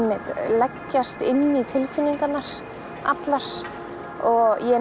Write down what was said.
leggjast inn í tilfinningarnar allar og ég